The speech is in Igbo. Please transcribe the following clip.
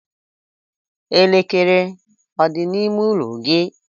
Elekere ọ dị n'ime ụlọ gị?